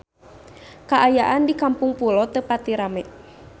Kaayaan di Kampung Pulo teu pati rame